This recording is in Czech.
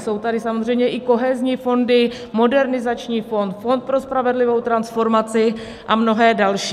Jsou tady samozřejmě i kohezní fondy, Modernizační fond, Fond pro spravedlivou transformaci a mnohé další.